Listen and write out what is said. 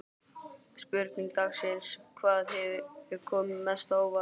Spurning dagsins: Hvað hefur komið mest á óvart?